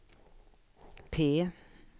P